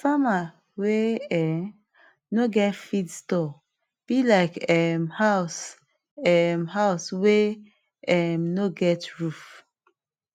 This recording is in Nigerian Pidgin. farmer wey um no get feed store be like um house um house wey um no get roof